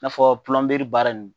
N'a fɔ nbaara ninnu.